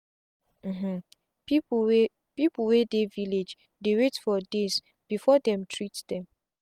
um people wey people wey dey village dey wait for days before dem treat them.